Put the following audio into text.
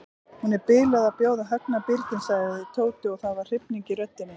Hún er biluð að bjóða Högna birginn sagði Tóti og það var hrifning í röddinni.